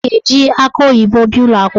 O ga-eji akị oyibo bịa ụlọakwụkwọ